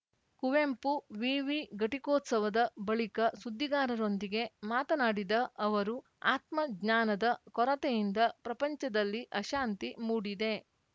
ಕುವೆಂಪು ವಿವಿ ಘಟಿಕೋತ್ಸವದ ಬಳಿಕ ಸುದ್ದಿಗಾರರೊಂದಿಗೆ ಮಾತನಾಡಿದ ಅವರು ಆತ್ಮಜ್ಞಾನದ ಕೊರತೆಯಿಂದ ಪ್ರಪಂಚದಲ್ಲಿ ಅಶಾಂತಿ ಮೂಡಿದೆ